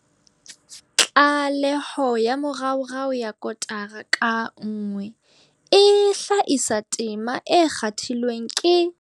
Tlaleho ya moraorao ya kotara ka nngwe e hlakisa tema e kgathilweng ke.